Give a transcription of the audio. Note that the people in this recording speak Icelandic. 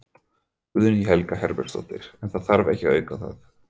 Guðný Helga Herbertsdóttir: En það þarf ekki að auka það?